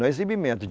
Não é exibimento.